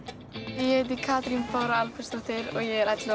ég heiti Katrín Bára Albertsdóttir og ég er ellefu